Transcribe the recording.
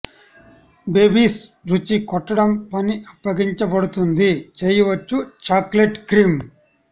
babies రుచి కొట్టడం పని అప్పగించబడుతుంది చేయవచ్చు చాక్లెట్ క్రీమ్